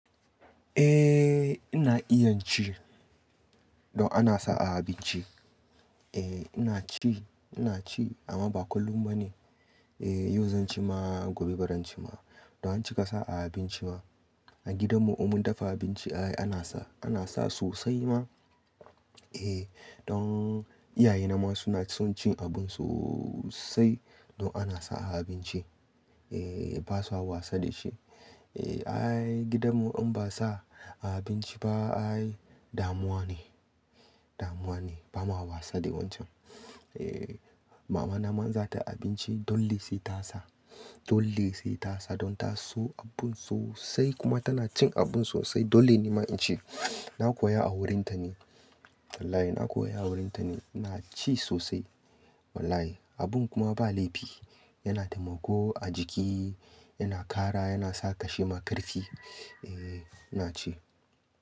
Eh ina iya ci, don ana sa a abinci. Eh ina ci, ina ci amma ba kullum ba ne. Eh yau zan ci ma, gobe barin ci ma. Don acika sa a abinci ba. A gidan mu in mun dafa abinci ai ana sa, ana sa sosai ma. Eh don iyaye na ma suna son cin abun sosai don ana sa a abinci. Eh ba su hawa wasa da shi. Eh ai gidan mu in ba sa a abinci ba ai damuwa ne, damuwa ne. Ba ma hawa wasa da wancan. Eh mama na man za ta abinci dole sai ta sa, dole sai ta sa. Don ta so abun sosai kuma tana cin abun sosai. Dole ne ma in ci. Na koya a wurin ta ne. Wallahi na koya a wurin ta ne. Na ci sosai wallahi. Abun kuma ba laifi, yana taimako a jiki, yana ƙara, yana sa kashe makarfi. Eh ina ci.